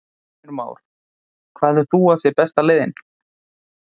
Heimir Már: Hvað heldur þú að sé besta leiðin?